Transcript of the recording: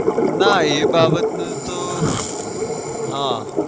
ના એ બાબત ને તો હા